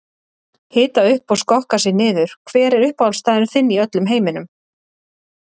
Hita upp og skokka sig niður Hver er uppáhaldsstaðurinn þinn í öllum heiminum?